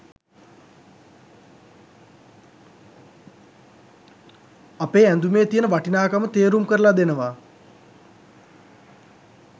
අපේ ඇඳුමේ තියෙන වටිනාකම තේරුම් කරලා දෙනවා.